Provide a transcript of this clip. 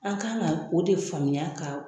An kan ka o de faamuya ka